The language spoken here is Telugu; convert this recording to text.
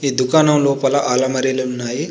ఈ దుకాణం లోపల అలమరీలు ఉన్నాయి.